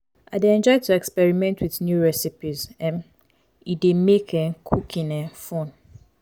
i dey enjoy to experiment with new recipes; um e dey make um cooking um fun.